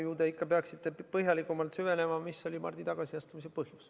No ju te ikka peaksite põhjalikumalt süvenema sellesse, mis oli Mardi tagasiastumise põhjus.